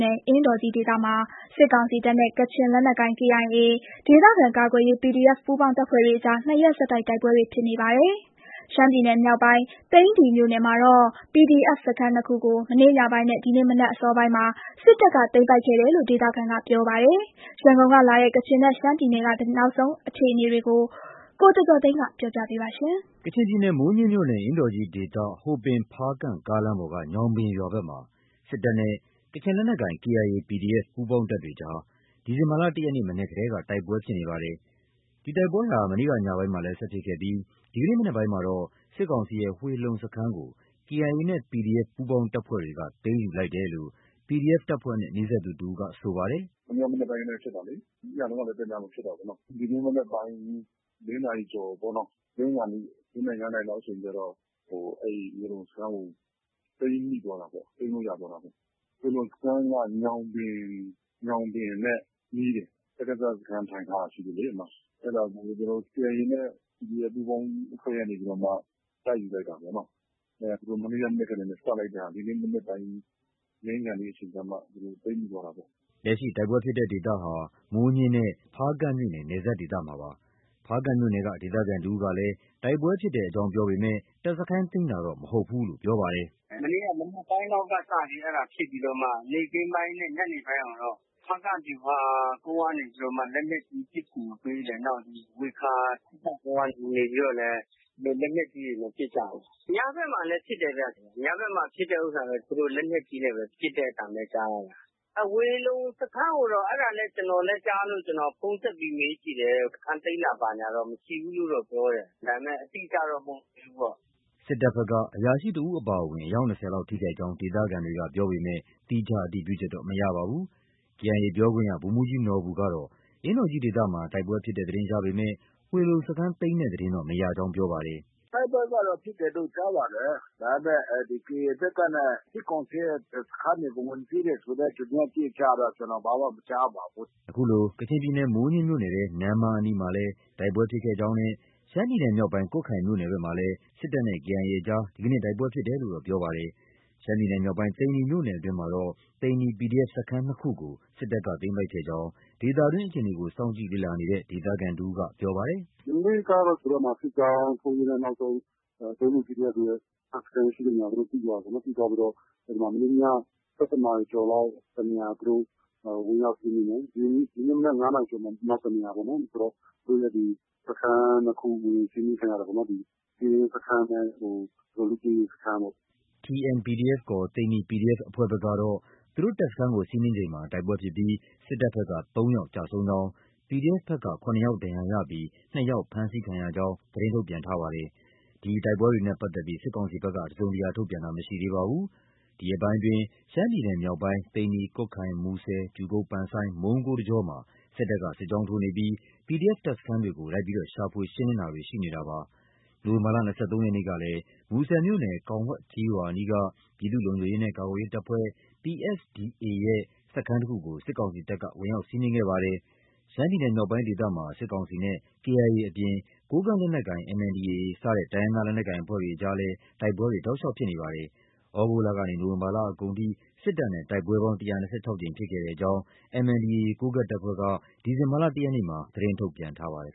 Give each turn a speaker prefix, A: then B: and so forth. A: နယ်၊ အင်းတော်ကြီးဒေသမှာ စစ်ကောင်စီတပ်နဲ့ ကချင် လက်နက်ကိုင် KIA၊ ဒေသခံကာကွယ်ရေး PDF ပူးပေါင်းတပ်ဖွဲ့တွေအကြား နှစ်ရက် ဆက်တိုက် တိုက်ပွဲတွေ ဖြစ်နေပါတယ်။ ရှမ်းပြည်နယ်မြောက်ပိုင်း သိန္နီမြို့နယ် မှာတာ့PDF စခန်းနှစ်ခုကို မနေ့ညပိုင်းနဲ့ ဒီနေ့ မနက်အစောပိုင်းမှာ စစ်တပ်က သိမ်းပိုက်ခဲ့တယ်လို့ ဒေသခံကပြောပါတယ်။ ရန်ကုန်ကလာတဲ့ ကချင်နဲ့ ရှမ်းပြည် နယ်က နောက်ဆုံးအခြေအနေတွေကို ကိုကျော်ကျော်ကျော်သိန်းက တင်ပြပေးထားပါတယ်
B: ။ ကချင်ပြည်နယ်၊ မိုးညှင်းမြို့နယ်၊ အင်းတော်ကြီးဒေသ ဟိုပင်-ဖားကန့် ကားလမ်းပေါ်က ညောင်ပင်ရွာဘက်မှာ စစ်တပ်နဲ့ ကချင်လက်နက်ကိုင် KIA ၊ PDF ပူးပေါင်းတပ်တွေကြား ဒီဇင်ဘာလ ၁ ရက်နေ့ မနက်ကတည်းက တိုက်ပွဲဖြစ်နေပါတယ်။ ဒီ တိုက်ပွဲဟာ မနေ့ ညပိုင်းမှာလည်း ဆက်ဖြစ်ခဲ့ပြီး ဒီနေ့မနက်ပိုင်းမှာတော့ စစ်ကောင်စီရဲ့ ဝှေလုံစခန်းကို KIA နဲ့ PDF ပူးပေါင်းတပ်ဖွဲ့တွေက သိမ်းယူလိုက်တယ်လို့ PDF တပ်ဖွဲ့နဲ့ နီးစပ်သူတဦးက ပြောပါတယ်။
C: “ဝှေလုံစခန်း၊ မနေ့က မနက်ကတည်းက ဖြစ်တာလေ။ ညတုန်းကလည်း တည လုံး ဖြစ်တာပေါ့နော။ ဒီနေ့မနက်ပိုင်း ၄ နာရီကျော်ပေါ့။ လင်းခါနီး ၄ နာရီ၊ ၅ နာရီ လောက်အချိန်ကျတော့ အဲဒီ ဝှေလုံစခန်းကို သိမ်းမိသွားတာပေါ့။ သိမ်းလို့ ရသွားတာပေါ့။ ဝှေလုံစခန်းက ညောင်ပင်နဲ့ နီးတယ်။ စကစ စခန်းထိုင်ထားတာလေ အဲဒီမှာ။ အဲဒါကို KIA နဲ့ PDF ပူးပေါင်းအဖွဲ့ကနေပြီးတော့မှ တိုက်ယူလိုက် တာပေါ့နော။ သူတို့ မနေ့က မနက်ကတည်းက စလိုက်တဲ့ဟာ ဒီနေ့မနက်ပိုင်း လင်းခါနီးအချိန်ကျမှ
B: သိမ်းမိသွားတာပေါ့။” လက်ရှိ တိုက်ပွဲဖြစ်တဲ့ဒေသဟာ မိုးညှင်းနဲ့ ဖားကန့်မြို့နယ် နယ်စပ်ဒေသမှာဖြစ်ပါတယ်။ ဖားကန့်မြို့နယ်က ဒေသခံတဦးကလည်း တိုက်ပွဲဖြစ်တဲ့အကြောင်းပြောပေမဲ့ တပ်စခန်းသိမ်းတာကိုတော့ မဟုတ်ဘူးလို့ပြောပါတယ်
A: ။ “မနေ့က မနက်ပိုင်းကနေစပြီးတော့ ဖြစ်ပြီးမှ နေ့ခင်းပိုင်းနဲ့ ညနေပိုင်းကိုတော့ ဖားကန့် ဗျူဟာကုန်းကနေ လက်နက်ကြီး ပစ်ကူပေးတယ်။ နောက်ဒီ ဝှေခါ စစ်တပ်ကုန်းကနေပြီးတော့လည်း လက်နက်ကြီးတွေနဲ့ ပစ်ကြတယ်။ ညဘက်မှာလည်း ပစ် တယ်ဗျ။ ညဘက်မှာ ဖြစ်တဲ့ဟာတော့ သူတို့ လက်နက်ကြီးနဲ့ ပစ်တဲ့အသံပဲ ကြားတာ။ ဝှေလုံစခန်းကိုတော့ အဲဒါလည်း ကျနော်လည်း ကြားလို့ ဖုန်းဆက်ပြီး မေးကြည့်တယ်။ စခန်းသိမ်းတာ ဘာညာတော့ မရှိဘူးလို့တော့ ပြောတယ်။ ဒါပေမဲ့ အတိအကျတော့ မဟုတ်သေးဘူးပေါ့။
B: ” စစ်တပ်ဘက်က အရာရှိတဦးအပါအဝင် အယောက် ၂၀ လောက် ထိခိုက်ကြောင်း ဒေသခံတွေက ပြောပေမဲ့ သီးခြားအတည်ပြုချက်တော့ မရပါဘူး။ KIA ပြောခွင့်ရ ဗိုလ်မှူးကြီးနော်ဘူကတော့ အင်းတော်ကြီးဒေသမှာ တိုက်ပွဲဖြစ်တဲ့သတင်းရပေမဲ့ ဝှေလုံစခန်းသိမ်းတဲ့သတင်းတော့ မရကြောင်း ပြောပါတယ်။
A: “တိုက်ပွဲကတော့ ဖြစ်တယ်လို့ ကြားပါတယ်။ ဒါပေမဲ့ ဒီ KIA ဘက်ကနဲ့ စစ်ကောင်စီရဲ့ စခန်းတွေကို ဝင်သိမ်းတယ်ဆိုတဲ့ သတင်းအတိအကျတော့ ကျနော် ဘာမှမကြားပါဘူး
B: ။ ” ခုလို ကချင်ပြည်နယ် မိုးညှင်းမြို့နယ်ထဲ နမ္မားအနီးမှာလည်း တိုက်ပွဲဖြစ်ခဲ့ကြောင်းနဲ့ရှမ်းပြည်နယ်မြောက်ပိုင်း ကွတ်ခိုင်မြို့နယ်ဘက်မှာလည်း စစ်တပ်နဲ့ KIA အကြား ဒီနေ့ တိုက်ပွဲဖြစ်တယ်လို့တော့ ပြောပါတယ်။ ရှမ်းပြည်နယ်မြောက်ပိုင်း သိန္နီမြို့နယ်အတွင်းမှာတော့ သိန္နီ PDF စခန်း နှစ်ခုကို စစ်တပ်က သိမ်းပိုက်ခဲ့ကြောင်း ဒေသတွင်းအခြေအနေကို စောင့်ကြည့်လေ့လာနေတဲ့ ဒေသခံတဦးက ပြောပါတယ်
C: ။ “မနေ့ကတော့ သူတို့ စစ်ကြောင်းထိုးရင်းနဲ့ နောက်ဆုံး သူတို့ သိန္နီ PDF တွေရဲ့ တပ်စခန်းရှိတဲ့နေရာကို သိသွားတာပေါ့နော်။ သိသွားပြီးတော့ မနေ့ည ၁၁ နာရီကျော်လောက်မှာ တနေရာ သူတို့ ဝင်ရောက်စီးနင်းတယ်။ ဒီနေ့မနက် ၅ နာရီကျော်မှာ နောက်တနေရာပေါ့။ ဆိုတော့ စခန်းနှစ်ခု စီးနင်းခံရတယ်ပေါ့။ ကင်းစခန်းနဲ့ လေ့
B: ကျင့်ရေးစခန်းပေါ့။” TN- PDF ခေါ် သိန္နီ PDF အဖွဲ့ဘက်ကတော့ သူတို့တပ်စခန်း စီးနင်းချိန်မှာ တိုက် ပွဲဖြစ်ပြီး စစ်ကောင်စီဘက်က သုံးယောက်ကျဆုံးကြောင်း၊ PDF ဘက်က ၇ ယောက် ဒဏ်ရာရပြီး နှစ်ယာက် ဖမ်းဆီးခံရကြောင်း သတင်းထုတ်ပြန်ထားပါတယ်။ ဒီတိုက်ပွဲတွေနဲ့ပတ်သက်လို့ စစ်ကောင်စီဘက်က တစုံတရာ ထုတ်ပြန်ခြင်း မရှိသေးပါဘူး။ ဒီရက်ပိုင်းအတွင်းရှမ်းပြည်နယ်မြောက်ပိုင်း သိန္နီ၊ ကွတ်ခိုင်၊ မူဆယ်၊ ကြူကုတ် (ပန်ဆိုင်း) မုံးကိုး တကြောမှာ စစ်တပ်က စစ်ကြောင်းထိုးနေပြီး PDF တပ်စခန်းတွေကို လိုက်လံရှာဖွေ ရှင်းလင်းတာတွေ ရှိနေတာပါ။ နိုဝင်ဘာလ ၂၃ရက်နေ့ကလည်း မူဆယ်မြို့နယ် ကောင်ဝှဲက်ကျေးရွာအနီးက ပြည်သူ့ လုံခြုံရေးနှင့် ကာကွယ်ရေး တပ်ဖွဲ့(PSDA)ရဲ့ စခန်းတစ်ခုကို စစ်ကောင်စီတပ်က ဝင်ရောက်စီးနင်းခဲ့ပါတယ်။ ရှမ်းပြည်နယ်မြောက်ပိုင်းဒေသမှာ စစ်ကောင်စီတပ်နဲ့ KIA အပြင် ကိုကန့် လက်နက်ကိုင် MNDAA စတဲ့ တိုင်းရင်းသား လက်နက်ကိုင်အဖွဲ့တွေအကြားလည်း တိုက်ပွဲတွေ တောက်လျှောက်ဖြစ်ပွားနေပါတယ်။ သြဂုတ်လကနေ နိုဝင်ဘာလအကုန်ထိ စစ်ကောင်စီတပ်နဲ့ တိုက်ပွဲပေါင်း ၁၂၆ ကြိမ်ဖြစ်ခဲ့ကြောင်း MNDAA ကိုးကန့် တပ်ဖွဲ့က ဒီဇင်ဘာလ ၁ ရက်နေ့က သတင်းထုတ်ပြန်ထားပါတယ်